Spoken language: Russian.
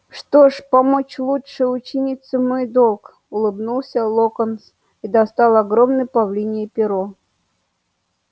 что ж помочь лучшей ученице мой долг улыбнулся локонс и достал огромное павлинье перо